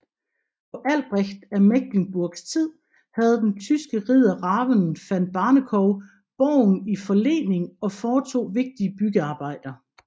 På Albrecht af Mecklenburgs tid havde den tyske ridder Raven van Barnekow borgen i forlening og foretog vigtige byggearbejder